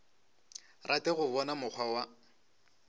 rate go bona mokgwa wa